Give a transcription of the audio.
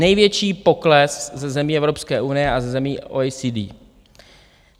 Největší pokles ze zemí Evropské unie a ze zemí OECD.